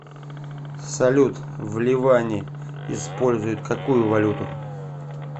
салют в ливане используют какую валюту